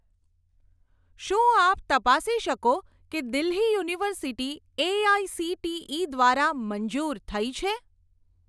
શું આપ તપાસી શકો કે દિલ્હી યુનિવર્સિટી એઆઇસીટીઇ દ્વારા મંજૂર થઇ છે?